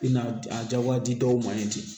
I na a jagoya di dɔw ma yen ten